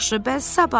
Yaxşı, bəs sabah?